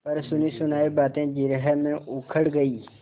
पर सुनीसुनायी बातें जिरह में उखड़ गयीं